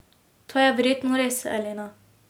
To je verjetno res, Elena.